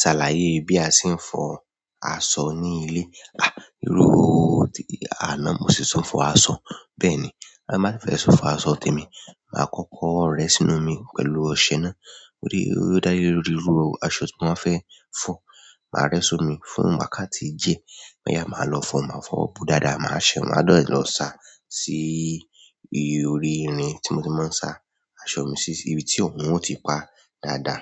Ṣàlàyé bí a ṣe ń fọ aṣọ ní ilé. À, irú tí àná mo si tùn fọ aṣọ. Bẹ́ẹ̀ ni, bí mo bá fẹ́ fọ aṣọ tèmi, màá kọ́kọ́ rẹ́ sínú omi pẹ̀lú ọṣẹ náà. Ó dá lẹ́rùrú irú aṣọ tí wọ́n fẹ́ fọ. Màá rẹ́ sómi fún wákàtí díẹ̀. Lẹ́yìn náà, màá lọ fọ, màá fọ ọ̀ bú dàda, màá ṣẹ, màá lọ sá sí orí irin tí mo ti máa ń sá aṣọ mi sí ibi tí òórùn ó ti pá dàda.